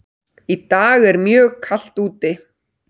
Í dag er mjög kalt úti.